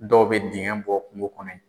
Dɔw bɛ dingɛ bɔ kunko kɔnɔ ye.